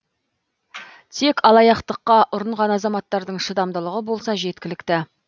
тек алаяқтыққа ұрынған азаматтардың шыдамдылығы болса жеткілікті